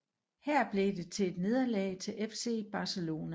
Her blev det til nederlag til FC Barcelona